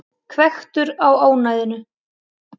Hvekktur á ónæðinu.